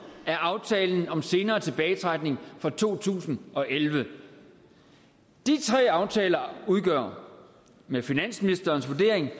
er aftalen om senere tilbagetrækning fra to tusind og elleve de tre aftaler udgør med finansministerens vurdering